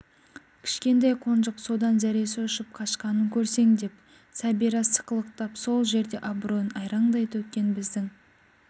кішкентай қонжық содан зәресі ұшып қашқанын көрсең деп сәбира сықылықтап сол жерде абыройын айраңдай төккен біздің